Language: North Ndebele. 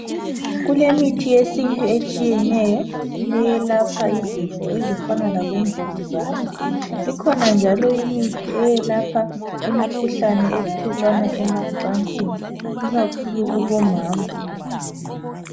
Kumithi yesintu etshiyeneyo eyelapha izifo ezifana labomvukuzane ikhona njalo imithi eyelapha imikhuhlane ethelelwana emacansini ikakhulu kubomama